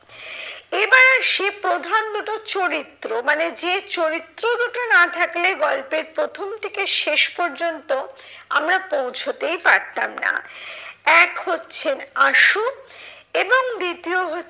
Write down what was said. এবার আসি প্রধান দুটো চরিত্র, মানে যে চরিত্র দুটো না থাকলে গল্পের প্রথম থেকে শেষ পর্যন্ত আমরা পৌঁছতেই পারতাম না। এক হচ্ছেন আশু এবং দ্বিতীয় হচ্ছে